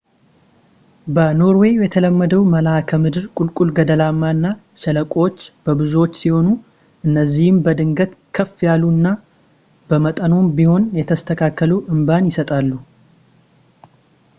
በኖርዌይ የተለመደው መልክዓምድር ቁልቁል ገደላማ እና ሸለቆዎች የበዙባቸው ሲሆኑ እነዚህም በድንገት ከፍ ያሉ እኛ በመጠኑም ቢሆን የተስተካከሉ አምባን ይሰጣሉ